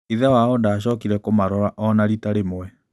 Ithe wao ndaacokire kũmarora o na rita rĩmwe.